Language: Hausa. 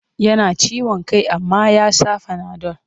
Yana ciwon kai amma ya sa fanadol.